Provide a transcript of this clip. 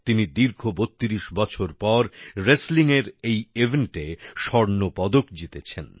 তিনি দীর্ঘ ৩২ বছর পর রেসলিং এর এই ইভেন্টে স্বর্ণপদক জিতেছেন